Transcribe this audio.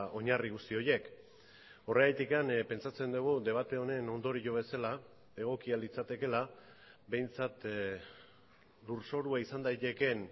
oinarri guzti horiek horregatik pentsatzen dugu debate honen ondorio bezala egokia litzatekeela behintzat lurzorua izan daitekeen